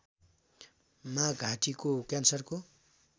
मा घाँटीको क्यान्सरको